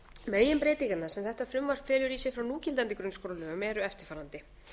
meginbreytingarnar sem þetta frumvarp felur í sér frá núgildandi grunnskólalögum eru eftirfarandi